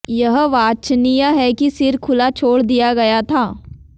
यह वांछनीय है कि सिर खुला छोड़ दिया गया था